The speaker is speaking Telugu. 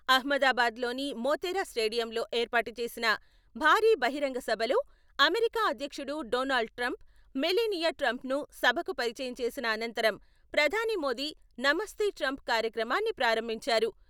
అహ్మదాబాద్ లోని మోతెరా స్టేడియంలో ఏర్పాటు చేసిన భారీ బహిరంగ సభలో అమెరికా అధ్యక్షుడు డొనాల్డ్ ట్రంప్, మెలానియా ట్రంపన్ను సభకు పరిచయం చేసిన అనంతరం ప్రధాని మోదీ నమస్తే ట్రంప్ కార్యక్రమాన్ని ప్రారంభించారు.